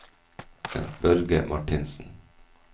Børge Marthinsen